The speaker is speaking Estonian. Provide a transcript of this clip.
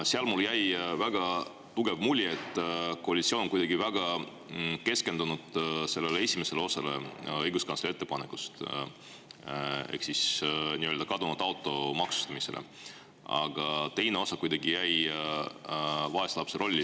Seal mulle jäi väga tugev mulje, et koalitsioon on kuidagi väga keskendunud esimesele osale õiguskantsleri ettepanekust ehk siis nii-öelda kadunud auto maksustamisele, aga teine osa jäi vaeslapse rolli.